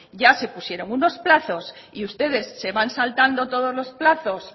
ya se pusieron unos plazo y ustedes se van saltando todos los plazos